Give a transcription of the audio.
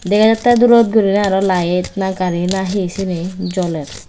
dega jatte durot gurinei araw lite na gari na hi sini joler.